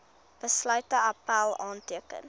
besluit appèl aanteken